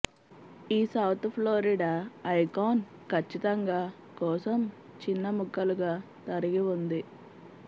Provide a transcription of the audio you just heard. ఈ south Florida icon ఖచ్చితంగా కోసం చిన్న ముక్కలుగా తరిగి ఉంది